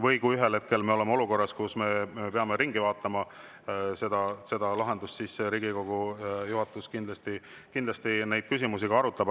Või kui me ühel hetkel oleme olukorras, kus me peame selle lahenduse ringi tegema, siis Riigikogu juhatus kindlasti neid küsimusi arutab.